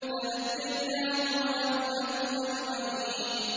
فَنَجَّيْنَاهُ وَأَهْلَهُ أَجْمَعِينَ